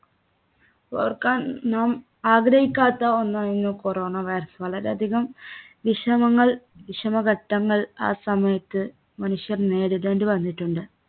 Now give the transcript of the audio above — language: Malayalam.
ഓർക്കാൻ നാം ആഗ്രഹിക്കാത്ത ഒന്നായിരുന്നു corona virus. വളരെ അധികം വിഷമങ്ങൾ വിഷമഘട്ടങ്ങൾ ആ സമയത്ത് മനുഷ്യൻ നേരിടേണ്ടി വന്നിട്ടുണ്ട്,